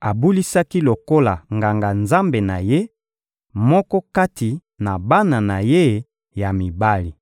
abulisaki lokola nganga-nzambe na ye, moko kati na bana na ye ya mibali.